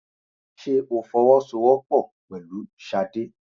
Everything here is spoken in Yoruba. Ṣé o fọwọ́ sọ wọ́pọ̀ pẹ̀lú Ṣadé?